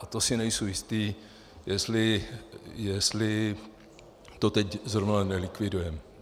A to si nejsem jistý, jestli to teď zrovna nelikvidujeme.